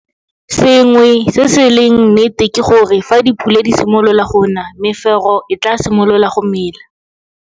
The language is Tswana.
Sengwe se se leng nnete ke gore fa dipula di simolola go na mefero e tlaa simolola go mela.